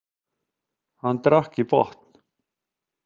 Hann drakk í botn.